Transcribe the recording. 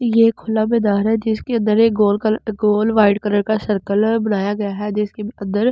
ये एक खुला मैदान है जिसके अंदर एक गोल कलर गोल वाइट कलर का सर्किल बनाया गया है जिसके अंदर।